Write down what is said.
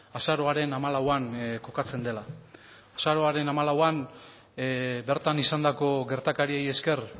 azaroaren hamalauan kokatzen dela azaroaren hamalauan bertan izandako gertakariei esker